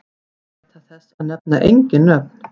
Gæta þess að nefna engin nöfn.